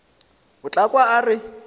o tla kwa a re